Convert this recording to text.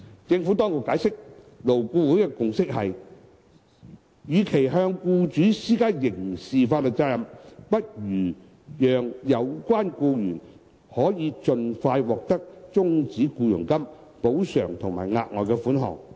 政府當局解釋，勞顧會的共識是，與其向僱主施加刑事法律責任，不如讓有關僱員可盡快獲得終止僱傭金、補償及額外款項。